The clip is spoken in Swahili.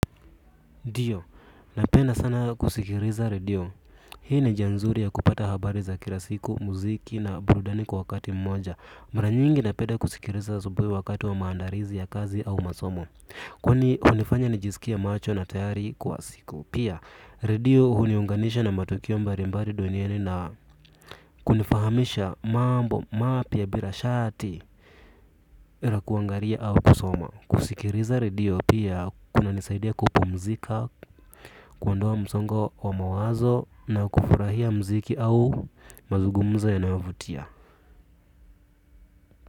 NDio, napenda sana kusikiliza radio. Hii ni njia nzuri ya kupata habari za kila siku, muziki na burudani kwa wakati mmoja. Mara nyingi napenda kusikiliza asubuhi wakati wa maandalizi ya kazi au masomo. Kwani hunifanya nijisikie macho na tayari kwa siku. Pia, radio huniunganisha na matokeo mbali mbali duniani na kunifahamisha mambo, mapya bila shati la kuangalia au kusoma. Kusikiliza radio pia, kunanisaidia kupumzika. Kuondoa msongo wa mawazo na kufurahia mziki au mazungumzo yanayovutia.